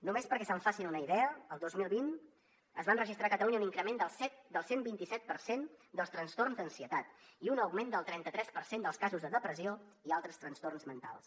només perquè se’n facin una idea el dos mil vint es va registrar a catalunya un increment del cent i vint set per cent dels trastorns d’ansietat i un augment del trenta tres per cent dels casos de depressió i altres trastorns mentals